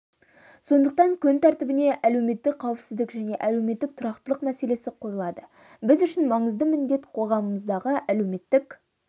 сондықтан күн тәртібіне әлеуметтік қауіпсіздік және әлеуметтік тұрақтылық мәселесі қойылады біз үшін маңызды міндет қоғамымыздағы әлеуметтік